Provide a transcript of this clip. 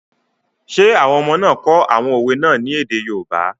Ṣé àwọn ọmọ náà kọ àwọn òwe náà ní èdè yoòbá?